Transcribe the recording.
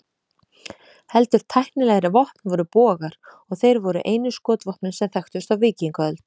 Heldur tæknilegri vopn voru bogar, og þeir voru einu skotvopnin sem þekktust á víkingaöld.